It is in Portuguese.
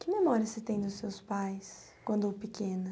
Que memória você tem dos seus pais, quando pequena?